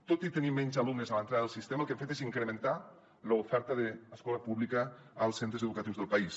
tot i tenir menys alumnes a l’entrada del sistema el que hem fet és incrementar l’oferta d’escola pública als centres educatius del país